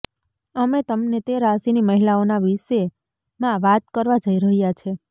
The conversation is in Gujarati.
અમે તમને તે રાશિની મહિલાઓના વિશે માં વાત કરવા જઈ રહ્યા છે